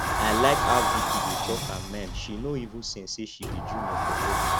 i like how vicki dey talk her mind she no even send say she be junior for work